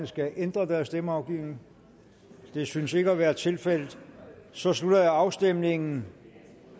skal ændre deres stemmeafgivning det synes ikke at være tilfældet så slutter jeg afstemningen